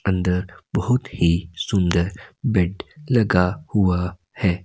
अंदर बहुत ही सुंदर बेड लगा हुआ है।